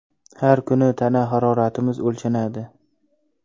Har kuni tana haroratimiz o‘lchanadi.